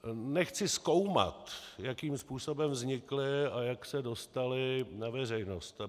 Nechci zkoumat, jakým způsobem vznikly a jak se dostaly na veřejnost.